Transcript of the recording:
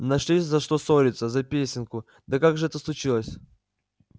нашли за что ссориться за песенку да как же это случилось